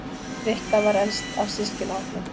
Rikka var elst af systkinahópnum.